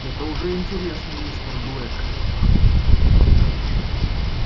это уже интересно мистер блэк